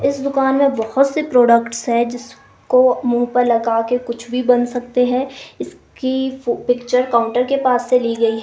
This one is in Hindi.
इस दुकान में बहुत से प्रोडक्ट्स है जिसको मुंह पर लगा के कुछ भी बन सकते हैं इसकी पिक्चर काउंटर के पास से ली गई है।